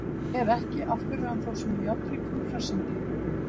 Ef ekki, af hverju er hann þá svona járnríkur og hressandi?